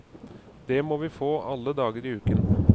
Det må vi få alle dager i uken.